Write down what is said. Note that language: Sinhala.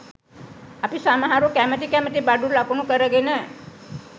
අපි සමහරු කැමති කැමති බඩු ලකුණු කරගෙන